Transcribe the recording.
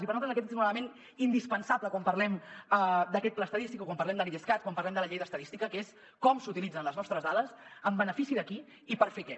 i per nosaltres aquest és un element indispensable quan parlem d’aquest pla estadístic o quan parlem de l’idescat quan parlem de la llei d’estadística que és com s’utilitzen les nostres dades en benefici de qui i per fer què